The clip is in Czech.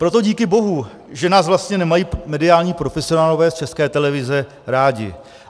Proto díky bohu, že nás vlastně nemají mediální profesionálové z České televize rádi.